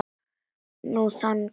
Nú þagnaði Ormur.